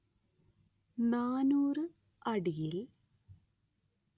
നാനൂറ് അടിയിൽ